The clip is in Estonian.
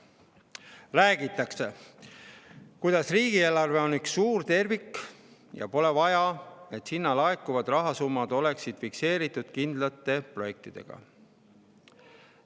Räägitakse, kuidas riigieelarve on üks suur tervik, ja pole vaja, et sinna laekuvad rahasummad oleksid fikseeritud kindlate projektidega.